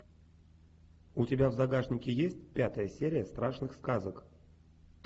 у тебя в загашнике есть пятая серия страшных сказок